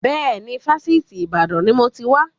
Bẹ́ẹ̀ni, Fásitì Ìbàdàn ni mo ti wà.